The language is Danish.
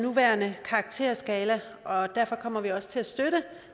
nuværende karakterskala og derfor kommer vi også til at støtte